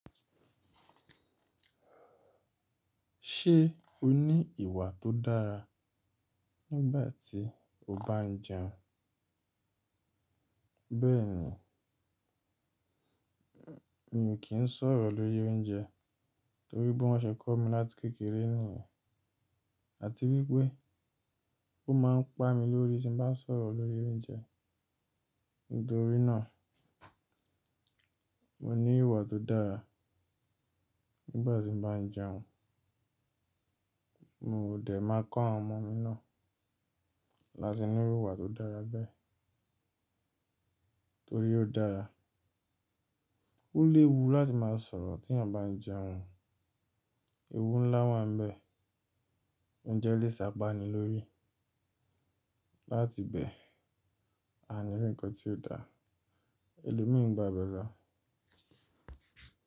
Ṣé o ní ìwà tó dára nígbà tí o bá ń jẹun? Bẹ́ẹ̀ni, mi ò kí ń sọ̀rọ̀ lórí oúnjẹ torí pé wọ́n ṣe kọ́ mi láti kékeré nìyẹn àti wípé ó máa ń pá mi lórí tí bá ń sọ̀rọ̀ lórí oúnjẹ. Nítorí náà, mo ní ìwà tó dára nígbà tí mo bá ń jẹun. Mo dẹ̀ máa kọ́ àwọn ọmọ mi náà láti ní ìwà tó dára bẹ́ẹ̀ torí ó dára. Ó léwu láti máa sọ̀rọ̀ tí ènìyàn bá ń jẹun. Ewu ńlá wà níbẹ̀. Oúnjẹ lè ṣapá ni lórí. Láti bẹ́ẹ̀ a ní ǹkan tí ó da. Èlò mí ń gbà bẹ̀ẹ̀ lọ.